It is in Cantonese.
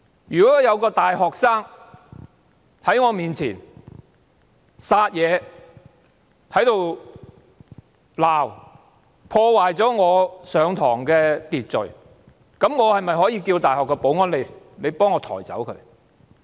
如果有一名大學生在我面前撒野、吵鬧，破壞了我的課堂秩序，我可否請大學保安員把他抬走呢？